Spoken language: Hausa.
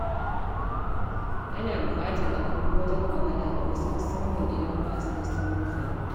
Ana buƙatar haƙuri wajen magana da wasu, musamman idan ba su da saurin fahimta.